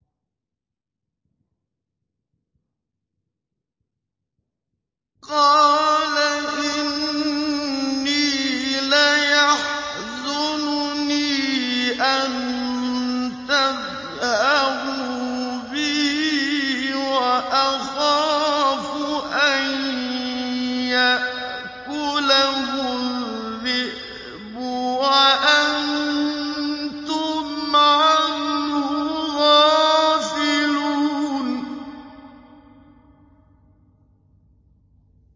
قَالَ إِنِّي لَيَحْزُنُنِي أَن تَذْهَبُوا بِهِ وَأَخَافُ أَن يَأْكُلَهُ الذِّئْبُ وَأَنتُمْ عَنْهُ غَافِلُونَ